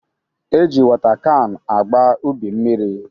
E ji wota kan agba ubi mmiri